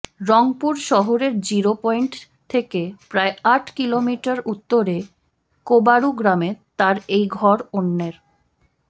রংপুর শহরের zero point থেকে প্রায় আট কিলোমিটার উত্তরে কোবারু গ্রামে তাঁর এই ঘর অন্যের